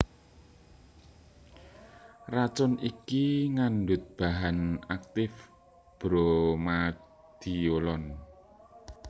Racun iki ngandhut bahan aktif Bromadiolon